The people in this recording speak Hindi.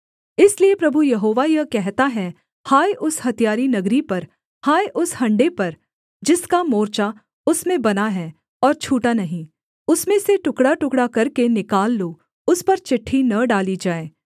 इसलिए प्रभु यहोवा यह कहता है हाय उस हत्यारी नगरी पर हाय उस हण्डे पर जिसका मोर्चा उसमें बना है और छूटा नहीं उसमें से टुकड़ाटुकड़ा करके निकाल लो उस पर चिट्ठी न डाली जाए